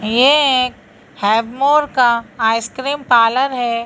ये एक हैव मोअर का आइस क्रीम पार्लर है।